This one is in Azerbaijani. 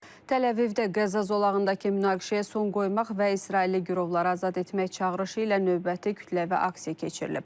Təl-Əvivdə qəza zolağındakı münaqişəyə son qoymaq və İsrailli girovları azad etmək çağırışı ilə növbəti kütləvi aksiya keçirilib.